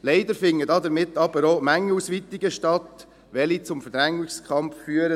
Leider finden damit aber auch Mengenausweitungen statt, die zum Verdrängungskampf führen.